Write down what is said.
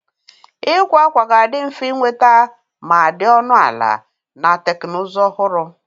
Ịkwa akwa ga-adị mfe ịnweta ma dị ọnụ ala, na teknụzụ ọhụrụ.